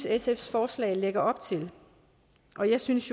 sfs forslag lægger op til og jeg synes